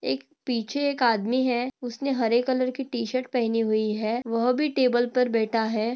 एक पीछे एक आदमी है उसने हरे कलर की टी शर्ट पहनी हुई है वह भी टेबल पर बैठा है।